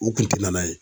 U kun ti na n'a ye